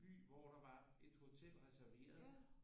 By hvor der var en hotel resterveret og hvor der var